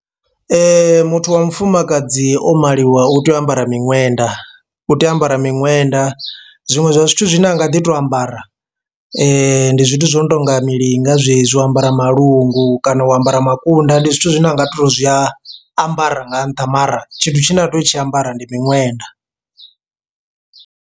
Muthu wa mufumakadzi o maliwaho u tea u ambara miṅwenda u tea u ambara miṅwenda, zwiṅwe zwa zwithu zwine a nga ḓi to ambara ndi zwithu zwo no tou nga nga milinga zwezwi u ambara malungu kana u ambara makunda, ndi zwithu zwine a nga to zwi a ambara nga nṱha mara tshithu tshine a tea u tshi ambarwa ndi miṅwenda.